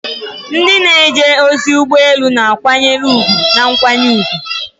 Ndị na-eje ozi ụgbọ elu na-akwanyere ùgwù na nkwanye ùgwù.